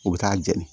U bɛ taa jeni